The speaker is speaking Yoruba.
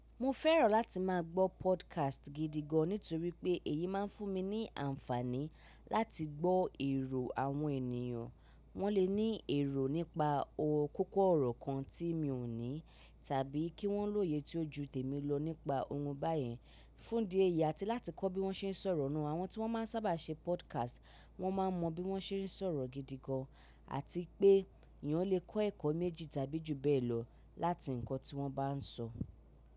Mo fẹ́ràn láti máa gbọ́ podcast gidi gan nítorí pé èyí máa ń fún mi ní àǹfààní láti gbọ́ èrò àwọn ènìyàn. Wọ́n lè ní èrò nípa ọ̀ kókó ọ̀rọ̀ kan tí mi ò ní tàbí kí wọ́n lóye tí ó ju tèmi lọ nípa ohun báyìí. Fún di èyí àti láti kọ́ bí wọ́n ṣe ń sọ̀rọ̀ nù, àwọn tí wọ́n máa ń sábà ṣe podcast wọ́n máa mọ bí wọ́n ṣe ń sọ̀rọ̀ gidi gan, àti pé eyan lè kọ́ ẹ̀kọ́ méjì tàbí jù bẹ́ẹ̀ lọ láti nǹkan tí wọ́n bá ń sọ.